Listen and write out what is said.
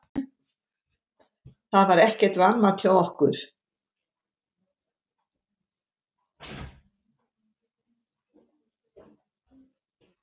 Það var ekkert vanmat hjá okkur